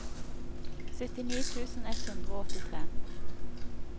syttini tusen ett hundre og åttitre